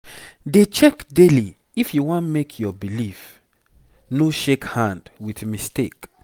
dey check daily if you wan make your belief no shake hand with mistake.